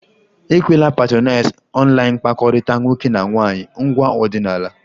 Ekwela patronize online mkpakọrịta nwoke na nwaanyị ngwa ọdịnala!